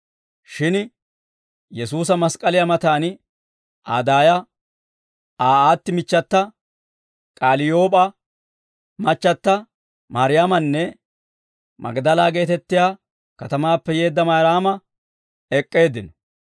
Shin Yesuusa mask'k'aliyaa matan Aa daaya, Aa aatti michchata, K'aliyoop'aa machchata Mayraamanne Magdala geetettiyaa katamaappe yeedda Mayraama ek'k'eeddino.